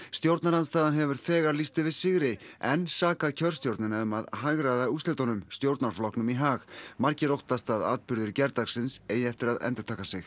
stjórnarandstaðan hefur þegar lýst yfir sigri en sakað kjörstjórnina um að hagræða úrslitunum stjórnarflokknum í hag margir óttast að atburðir gærdagsins eigi eftir að endurtaka sig